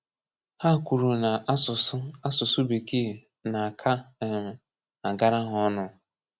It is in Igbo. Hà kwùrù na asụ̀sụ́ asụ̀sụ́ Békee na-aka um àgára hà ọnụ́.